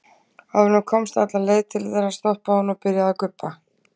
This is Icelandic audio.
Áður en hún komst alla leið til þeirra stoppaði hún og byrjaði að gubba.